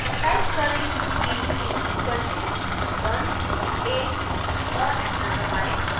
type करें b=ones of a और enter दबाएं